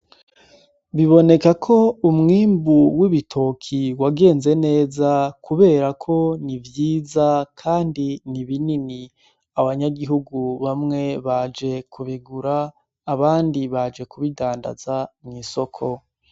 Biboneka ko umwimbu w'ibitoki wagenze neza, kubera ko ni ivyiza, kandi ni ibinini abanyagihugu bamwe baje kubigura abandi baje kubidandaza mw'isoko.